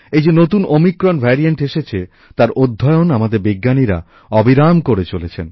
এই যে নতুন ওমিক্রন ভ্যারিয়েন্ট এসেছে তার অধ্যয়ন আমাদের বিজ্ঞানীরা অবিরাম করে চলেছেন